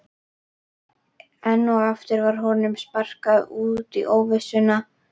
Enn og aftur var honum sparkað út í óvissuna.